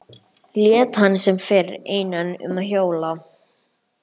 Lét hann sem fyrr einan um að hjóla.